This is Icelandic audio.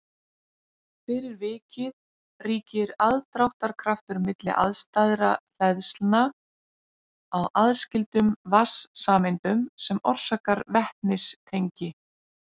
fyrir vikið ríkir aðdráttarkraftur milli andstæðra hleðslna á aðskildum vatnssameindum sem orsakar vetnistengi